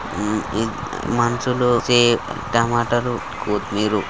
ఉమ్మ్ ఇద్ మనుషులుకి టమాటాలు కొత్తిమీరు--